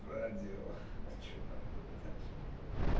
в радио а что там было дальше не помню